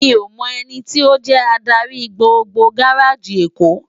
Mi ó mò èniti ó jè ádári gbógbó gáráji Ékó